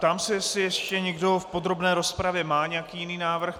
Ptám se, jestli ještě někdo v podrobné rozpravě má nějaký jiný návrh.